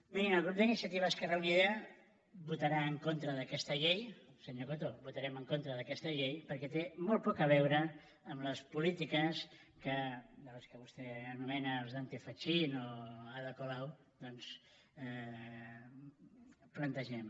mirin el grup d’iniciativa esquerra unida votarà en contra d’aquesta llei senyor coto votarem en contra d’aquesta llei perquè té molt poc a veure amb les polítiques dels que vostè anomena els dante fachin o ada colau doncs plantegem